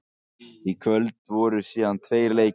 Í kvöld voru síðan tveir leikir.